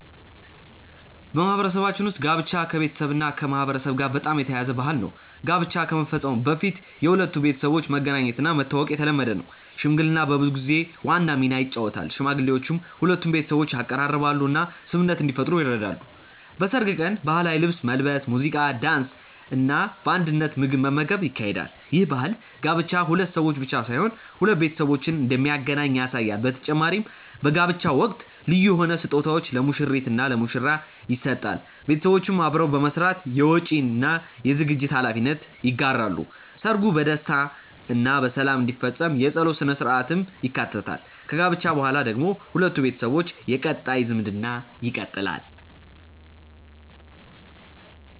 በማህበረሰባችን ውስጥ ጋብቻ ከቤተሰብና ከማህበረሰብ ጋር በጣም የተያያዘ ባህል ነው። ጋብቻ ከመፈጸሙ በፊት የሁለቱ ቤተሰቦች መገናኘትና መተዋወቅ የተለመደ ነው። ሽምግልና በብዙ ጊዜ ዋና ሚና ይጫወታል፤ ሽማግሌዎች ሁለቱን ቤተሰቦች ያቀራርባሉ እና ስምምነት እንዲፈጠር ይረዳሉ። በሰርግ ቀን ባህላዊ ልብስ መልበስ፣ ሙዚቃ፣ ዳንስ እና በአንድነት ምግብ መመገብ ይካሄዳል። ይህ ባህል ጋብቻ ሁለት ሰዎች ብቻ ሳይሆን ሁለት ቤተሰቦችን እንደሚያገናኝ ያሳያል በተጨማሪም በጋብቻ ወቅት ልዩ የሆኑ ስጦታዎች ለሙሽሪት እና ለሙሽራ ይሰጣል ቤተሰቦች አብረው በመስራት የወጪ እና የዝግጅት ሀላፊነት ይጋራሉ። ሰርጉ በደስታ እና በሰላም እንዲፈጸም የጸሎት ሥነ-ሥርዓትም ይካተታል። ከጋብቻ በኋላ ደግሞ ሁለቱ ቤተሰቦች የቀጣይ ዝምድና ይቀጥላሉ።